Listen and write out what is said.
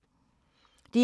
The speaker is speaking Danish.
DR2